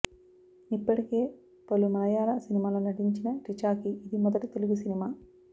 ఇప్పటికే పలు మళయాళ సినిమాల్లో నటించిన రిచాకి ఇది మొదటి తెలుగు సినిమా